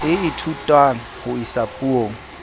e ithutwang ho isa puong